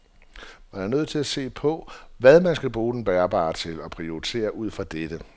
Man er nødt til at se på, hvad man skal bruge den bærbare til og prioritere ud fra dette.